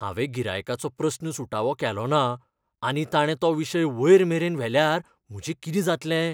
हांवें गिरायकाचो प्रस्न सुटावो केलो ना आनी ताणें तो विशय वयर मेरेन व्हेल्यार म्हजें कितें जातलें?